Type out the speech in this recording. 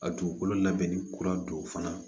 A dugukolo labɛnni kura don fana